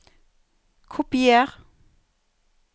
Kopier